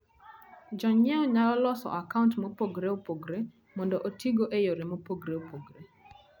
Jonyiewo nyalo loso akaunt mopogore opogore mondo otigo e yore mopogore opogore.